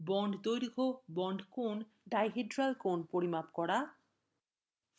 bond ধৈর্ঘ্য bond কোণ dihedral কোণ পরিমাপ করা